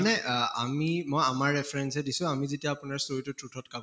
মানে আহ আমি মই আমাৰ reference য়ে দিছো আমি যেতিয়া আপোনাৰ কাম